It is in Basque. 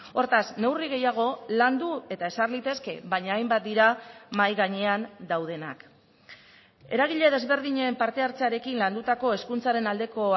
hortaz neurri gehiago landu eta ezar litezke baina hainbat dira mahai gainean daudenak eragile desberdinen parte hartzearekin landutako hezkuntzaren aldeko